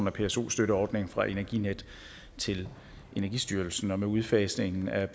af pso støtteordningen fra energinet til energistyrelsen og med udfasningen af